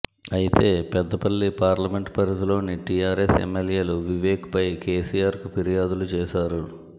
అయితే పెద్దపల్లి పార్లమెంట్ పరిధిలోని టీఆర్ఎస్ ఎమ్మెల్యేలు వివేక్పై కేసీఆర్కు ఫిర్యాదులు చేశారు